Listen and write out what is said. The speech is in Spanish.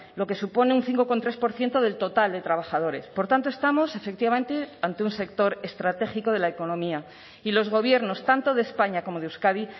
lo que supone un cinco coma tres por ciento del total de trabajadores por tanto estamos efectivamente ante un sector estratégico de la economía y los gobiernos tanto de españa como de euskadi